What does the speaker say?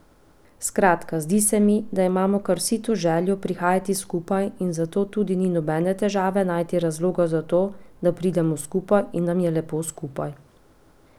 Skratka, zdi se mi, da imamo kar vsi to željo prihajati skupaj in zato tudi ni nobene težave najti razloga za to, da pridemo skupaj in nam je lepo skupaj.